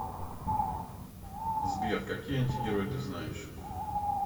сбер какие антигерой ты знаешь